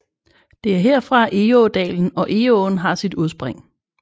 Det er herfra Egådalen og Egåen har sit udspring